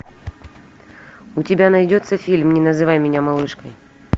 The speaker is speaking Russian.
у тебя найдется фильм не называй меня малышкой